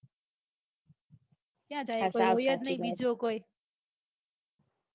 ક્યાં જાયે કોઈ હોય જ નાઈ બીજો કોઈ